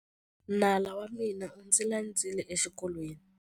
Nala wa mina u ndzi landzile exikolweni.